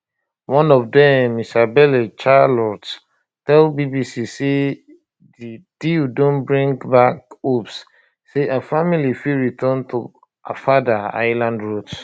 one of dem isabelle charlot tell bbc say di deal don bring back hopes say her family fit return to her father island roots